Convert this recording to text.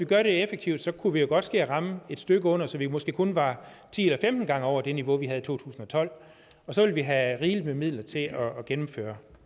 gør det effektivt så kunne vi måske ramme et stykke under så vi måske kun var ti eller femten gange over det niveau vi havde i to tusind og tolv og så ville vi have rigelig med midler til at gennemføre